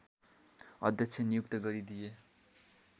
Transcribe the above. अध्यक्ष नियुक्त गरिदिए